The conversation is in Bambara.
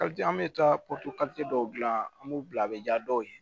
an bɛ taa dɔw gilan an b'u bila a bɛ ja dɔw ye